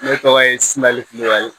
Ne tɔgɔ ye suman kulubali